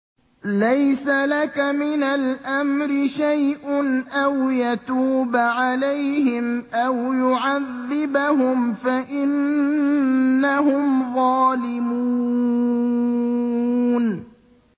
لَيْسَ لَكَ مِنَ الْأَمْرِ شَيْءٌ أَوْ يَتُوبَ عَلَيْهِمْ أَوْ يُعَذِّبَهُمْ فَإِنَّهُمْ ظَالِمُونَ